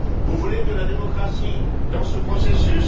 Vous voulez de la démocratie dans ce processus?